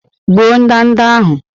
Gbuo ndanda ahụ!